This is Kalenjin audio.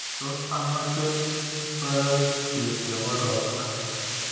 Tos amache ngoroikchu chebo ropta